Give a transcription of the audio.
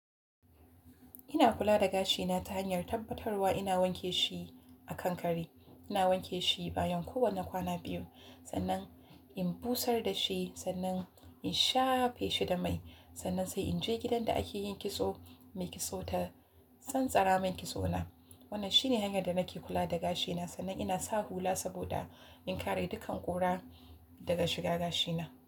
Ina kula da gashina ta hanyar tabbatarwa ina wanke shi a kankare. Ina wanke shi bayan kowane kwana biyu, sannan in busar da shi, sannan in shafe shi da mai, sannan sai in je gidan da ake yin kitso, mai kitso ta tsantsara min kitso na. Wannan shine hanyar da nake kula da gashina, sannan ina sa hula saboda in kare dukkan ƙura daga shiga gashina.